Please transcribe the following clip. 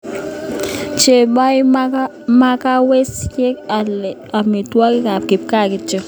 Chobei makawesiek alake amitwogikab kipkaa kityo